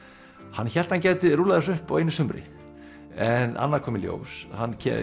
hann hélt hann gæti rúllað þessu upp á einu sumri en annað kom í ljós hann